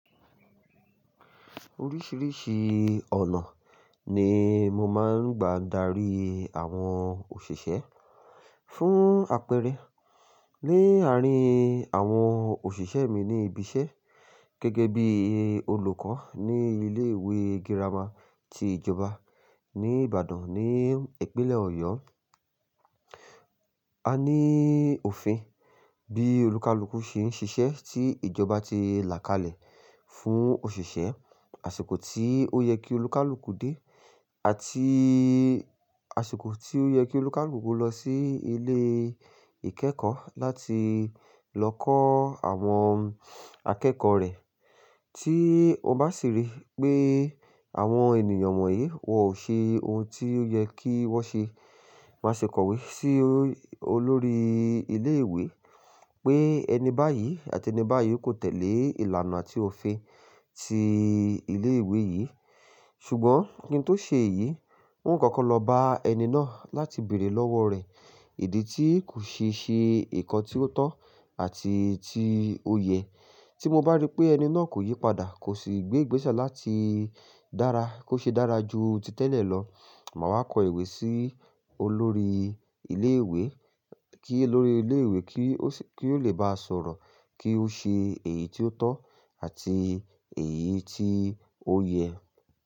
Oríṣìíríṣìí ọ̀nà ni mo máa ń gba dárí àwọn òṣìṣẹ́ fún àpẹẹrẹ ní àárín àwọn òṣìṣẹ́ mi ní ibi iṣẹ́ gẹ́gẹ́ bí olùkọ́ ní ilé ìwé gírámà ti ìjọba ní Ìbàdàn ní ìpínlẹ̀ Ọ̀yọ́. A ní òfin bí olùkálùkù ṣe ń ṣiṣẹ́ tí ìjọba ti làkalẹ̀ fún òṣìṣẹ́, àsìkò tí ó yẹ kí olùkálùkù dé àti àsìkò tí ó yẹ kí olùkálùkù lọ sí ilé ìkẹ́kọ̀ọ́ láti lọ kọ́ àwọn akẹ́kọ̀ọ́ rẹ̀. Tí o bá sì rí pé àwọn ènìyàn wọ̀nyí wọ̀n o ṣe ohun tí ó yẹ kí wọ́n ṣe, má ṣi kọ̀wé sí olórí ilé ìwé pé ẹni báyìí àti ẹni báyìí kò tẹ̀lé ìlànà àti òfin ti ilé ìwé yìí. Ṣùgbọ́n kí n tó ṣe èyí, un kọ́kọ́ lọ bá ẹni náà láti bèrè lọ́wọ́ rẹ̀ ìdí tí kò ṣe ṣe ǹkan tí ó tọ́ àti tí ó yẹ. Tí mo bá rí pé ẹni náà kò yí padà, kò sì gbé gbèsà láti dára, kó ṣe dára ju ti tẹ́lẹ̀ lọ, màá wá kọ ìwé sí olórí ilé ìwé kí olórí ilé ìwé kí ó lè bá sọ̀rọ̀ kí ó ṣe èyí tí ó tọ́ àti èyí tí ó yẹ.